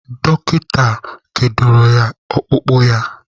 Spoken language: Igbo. Dọkịta kedoro ọkpụkpụ ya.